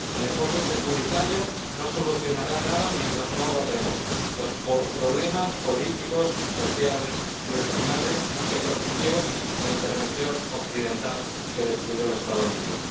El enfoque securitario no solucionará nada mientras no abordemos los problemas políticos, sociales y regionales que propició la intervención occidental que destruyó al Estado libio.